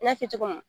N y'a fɔ cogo min na